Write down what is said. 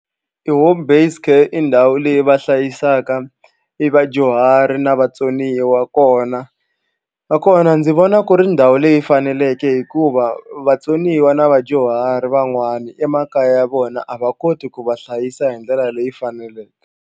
I home based care i ndhawu leyi va hlayisaka i vadyuhari na vatsoniwa kona nakona ndzi vona ku ri ndhawu leyi faneleke hikuva vatsoniwa na vadyuhari van'wana emakaya ya vona a va koti ku va hlayisa hi ndlela leyi faneleke.